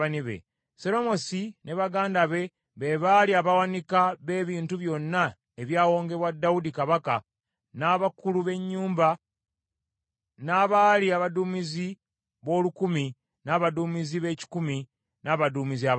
Seromosi ne baganda be, be baali abawanika b’ebintu byonna ebyawongebwa Dawudi kabaka, n’abakulu b’ennyumba, n’abaali abaduumizi b’olukumi, n’abaduumizi b’ekikumi, n’abaduumizi abalala.